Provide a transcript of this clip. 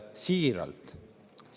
Siiralt.